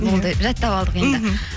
болды жаттап алдық енді мхм